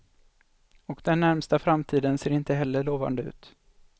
Och den närmaste framtiden ser inte heller lovande ut.